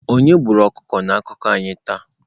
Onye gburu ọkụkọ na akụkọ anyị taa?